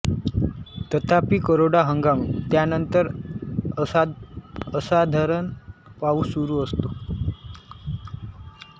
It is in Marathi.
तथापि कोरडा हंगाम त्यानंतर असाधारण पाऊस सुरू असतो